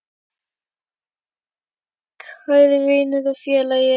Kæri vinur og félagi.